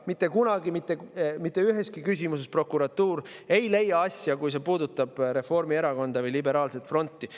Prokuratuur ei leia mitte kunagi mitte üheski küsimuses, kui see puudutab Reformierakonda või liberaalset fronti.